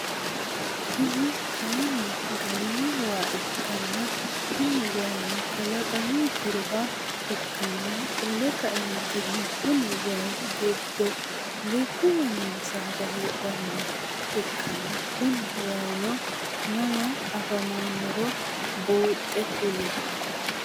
Kuni kaayiini garino waa ikkanna Kuni waayiino kalaqamu jiroha ikkanna qole kaeenttinni Konni waayii gidono lubbuwa noo saada heedhanoha ikkana Kuni waayiino mama afamanoro buuxe kuli